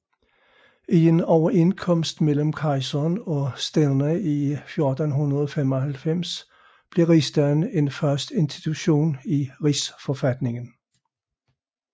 I en overenskomst mellem kejseren og stænderne i 1495 blev rigsdagen en fast institution i rigsforfatningen